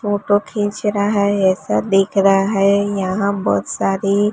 photo खिंच रहा है ऐसा दिख रहा है यहां बहुत सारी--